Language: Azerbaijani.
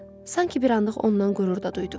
sanki bir anlıq ondan qürur da duydum.